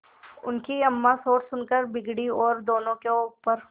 उनकी अम्मां शोर सुनकर बिगड़ी और दोनों को ऊपर